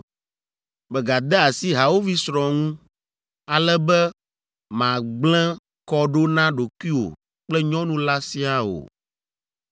“ ‘Megade asi hawòvi srɔ̃ ŋu, ale be màgblẽ kɔ ɖo na ɖokuiwò kple nyɔnu la siaa o.